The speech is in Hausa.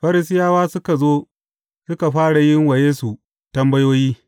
Farisiyawa suka zo suka fara yin wa Yesu tambayoyi.